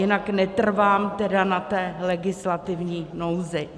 Jinak netrvám tedy na té legislativní nouzi.